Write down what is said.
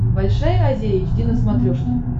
большая азия эйч ди на смотрешке